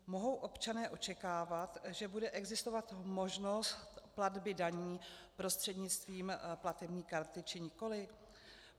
Mohou občané očekávat, že bude existovat možnost platby daní prostřednictvím platební karty, či nikoliv?